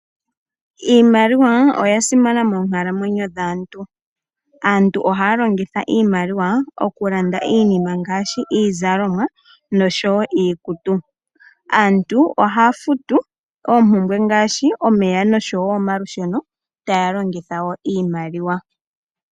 Iimaliwa oya simana moonkalamwenyo dhaantu, aantu ohaya longitha iimaliwa okulanda iinima ngaashi iizalomwa niikutu aantu ohaya futu oompumbwe ngaashi omeya nomalusheno taya longitha oshimaliwa.